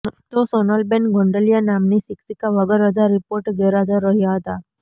તો સોનલબેન ગોંડલિયા નામની શિક્ષિકા વગર રજા રિપોર્ટે ગેરહાજર રહ્યા હતા